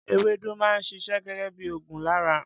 Ewédú máa ń ṣiṣẹ́ gẹgẹ bí ògùn lára.